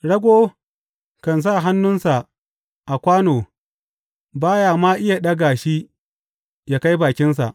Rago kan sa hannunsa a kwano ba ya ma iya ɗaga shi ya kai bakinsa!